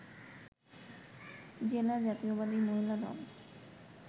জেলা জাতীয়তাবাদী মহিলা দল